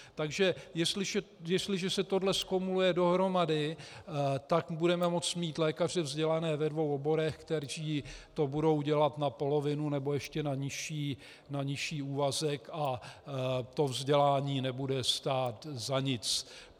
Takže jestliže se tohle nakumuluje dohromady, tak budeme moct mít lékaře vzdělané ve dvou oborech, kteří to budou dělat na polovinu nebo ještě na nižší úvazek, a to vzdělání nebude stát za nic.